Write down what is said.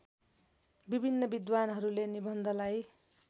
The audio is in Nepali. विभिन्न विद्वान्हरूले निबन्धलाई